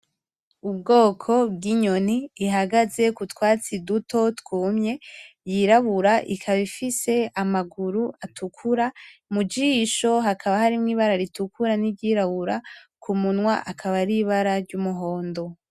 Ubwoko bw'inyoni ihagaze ku twatsi duto twumye, yirabura ikaba ifise amaguru atukura mujisho hakaba harimwo Ibara ritukura n'iryirabura kumunwa akaba ar' Ibara ry 'umuhondo